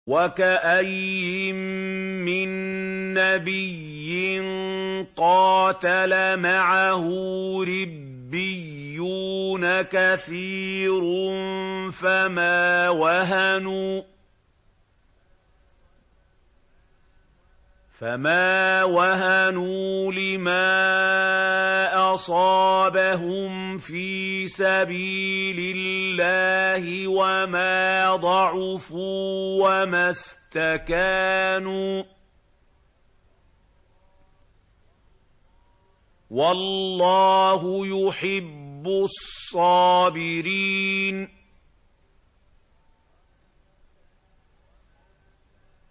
وَكَأَيِّن مِّن نَّبِيٍّ قَاتَلَ مَعَهُ رِبِّيُّونَ كَثِيرٌ فَمَا وَهَنُوا لِمَا أَصَابَهُمْ فِي سَبِيلِ اللَّهِ وَمَا ضَعُفُوا وَمَا اسْتَكَانُوا ۗ وَاللَّهُ يُحِبُّ الصَّابِرِينَ